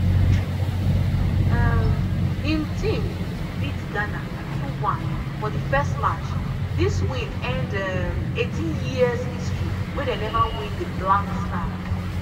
um im team beat ghana 2-1 for di first match dis win end um 18-years history wey dem neva win di black stars.